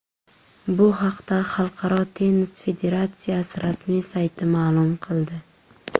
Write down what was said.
Bu haqda Xalqaro tennis federatsiyasi rasmiy sayti ma’lum qildi .